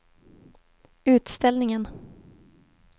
utställningen